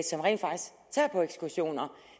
som rent faktisk tager på ekskursioner